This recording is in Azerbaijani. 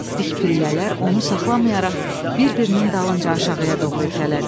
Dik pillələr onu saxlamayaraq bir-birinin dalınca aşağıya doğru itələdi.